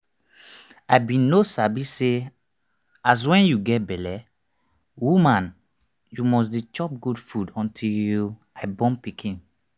i bin no sabi say as wen you get belle woman you must dey chop good food until i born pikin